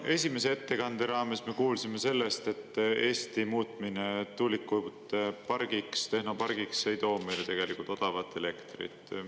Esimese ettekande raames me kuulsime sellest, et Eesti muutmine tuulikupargiks, tehnopargiks, ei too meile tegelikult odavat elektrit.